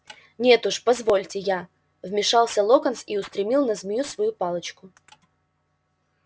нет уж позвольте я вмешался локонс и устремил на змею свою палочку